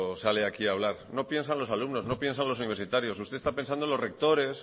sale aquí a hablar no piensa en los alumnos no piensa en los universitarios usted está pensando en los rectores